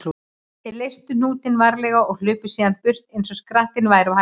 Þeir leystu hnútinn varlega og hlupu síðan burt eins og skrattinn væri á hælum þeirra.